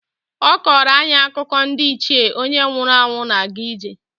Ọ kọọrọ anyị akụkọ ndị Ichie onye nwụrụ anwụ na-aga ije.